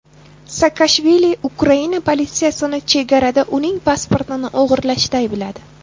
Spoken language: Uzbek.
Saakashvili Ukraina politsiyasini chegarada uning pasportini o‘g‘irlashda aybladi.